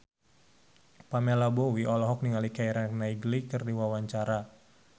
Pamela Bowie olohok ningali Keira Knightley keur diwawancara